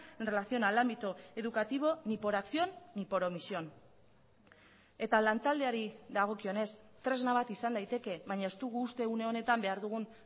en relación al ámbito educativo ni por acción ni por omisión eta lantaldeari dagokionez tresna bat izan daiteke baina ez dugu uste une honetan behar dugun